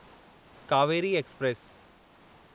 Kaveri express